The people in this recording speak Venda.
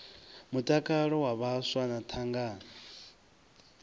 mutakalo wa vhaswa na thangana